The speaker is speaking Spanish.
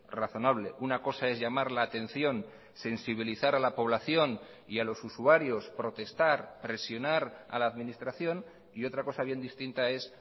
razonable una cosa es llamar la atención sensibilizar a la población y a los usuarios protestar presionar a la administración y otra cosa bien distinta es